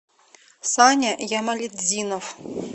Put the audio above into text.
саня ямалетдинов